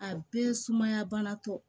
A bɛɛ sumaya banatɔ